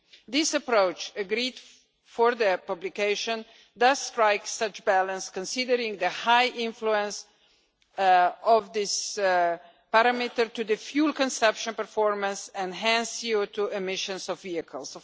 This approached, agreed for the publication, does strike such a balance considering the high influence of this parameter to the fuel consumption performance and hence CO2 emissions of vehicles.